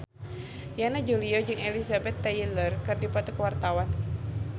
Yana Julio jeung Elizabeth Taylor keur dipoto ku wartawan